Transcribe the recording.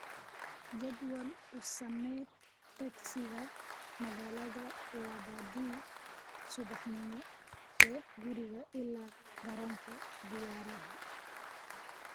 jadwal u samee tagsiga magaalada labadii subaxnimo ee guriga ilaa garoonka diyaaradaha